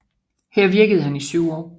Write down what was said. Her virkede han i 7 år